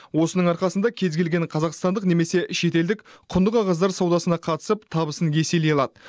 осының арқасында кез келген қазақстандық немесе шетелдік құнды қағаздар саудасына қатысып табысын еселей алады